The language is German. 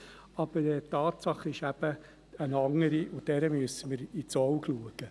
Aber die Tatsache ist eine andere, und dieser müssen wir ins Auge schauen.